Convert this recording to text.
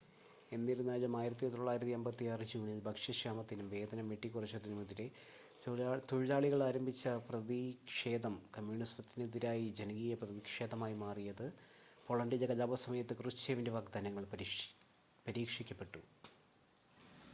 എന്നിരുന്നാലും 1956 ജൂണിൽ ഭക്ഷ്യക്ഷാമത്തിനും വേതനം വെട്ടിക്കുറച്ചതിനും എതിരെ തൊഴിലാളികൾ ആരംഭിച്ച പ്രതിക്ഷേധം കമ്മ്യൂണസത്തിന് എതിരായ ജനകീയ പ്രതിക്ഷേധമായി മാറിയ പോളണ്ടിലെ കലാപ സമയത്ത് ക്രൂഷ്ചേവിൻ്റെ വാഗ്ദാനങ്ങൾ പരീക്ഷിക്കപ്പെട്ടു